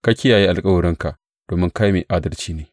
Ka kiyaye alkawarinka domin kai mai adalci ne.